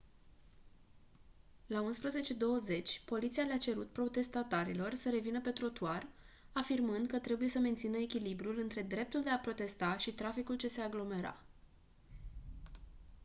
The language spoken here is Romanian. la 11:20 poliția le-a cerut protestatarilor să revină pe trotuar afirmând că trebuie să mențină echilibrul între dreptul de a protesta și traficul ce se aglomera